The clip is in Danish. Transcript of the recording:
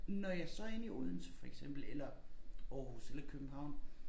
Når jeg så inde i Odense for eksempel eller Aarhus eller København